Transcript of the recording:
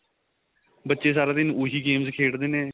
ਬੱਚੇ ਸਾਰਾ ਦਿਨ ਉਹੀ games ਖੇਡਦੇ ਨੇ